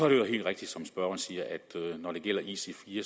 øvrigt helt rigtigt som spørgeren siger at når det gælder ic4